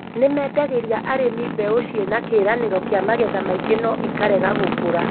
Nĩmendagĩria arĩmi mbeu cinakĩranĩro gĩa magetha maingĩ no ikarega gũkũra